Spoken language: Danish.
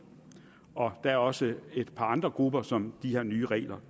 der er også et par andre grupper som de her nye regler